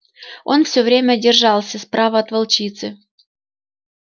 он все время держался справа от волчицы